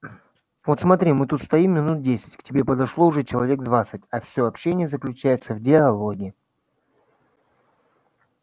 вот смотри мы тут стоим минуть десять к тебе подошло уже человек двадцать а всё общение заключается в диалоге